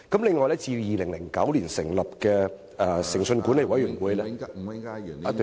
此外，於2009年成立的"警隊誠信管理委員會"......